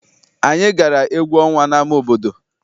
Anyị gara egwu ọnwa n'ama obodo.